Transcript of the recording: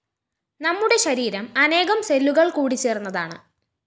നമ്മുടെ ശരീരം അനേകം സെല്ലുകള്‍ കൂടിചേര്‍ന്നതാണ്